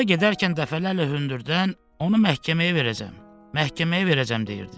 Yolda gedərkən dəfələrlə hündürdən onu məhkəməyə verəcəm, məhkəməyə verəcəm deyirdi.